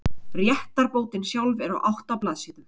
Réttarbótin sjálf er á átta blaðsíðum.